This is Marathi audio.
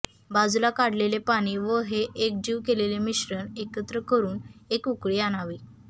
बाजुला काढलेले पाणी व हे एकजीव केलेले मीश्रण एकत्र करुन एक उकळी आणावी